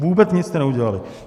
Vůbec nic jste neudělali.